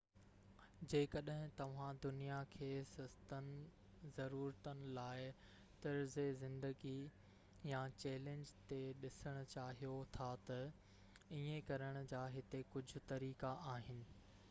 جيڪڏهن توهان دنيا کي سستن ضرورتن لاءِ طرزِ زندگي يا چئلينج تي ڏسڻ چاهيو ٿا ته ايئن ڪرڻ جا هتي ڪجهه طريقا آهن